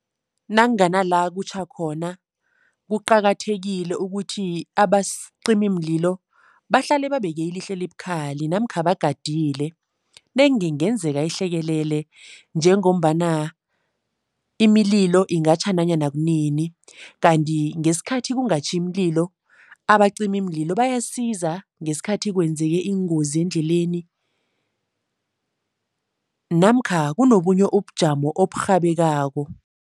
Nakungana la kutjha khona, kuqakathekile ukuthi abacimimlillo bahlale babeke ilihlo elibukhali namkha bagadile. Nenge kungenzeka ihlekelele njengombana imililo ingatjha nanyana kunini kanti ngesikhathi kungatjhi imililo, abacimimlilo bayasiza ngesikhathi kwenzeke iingozi endleleni namkha kunobunye ubujamo oburhabekako.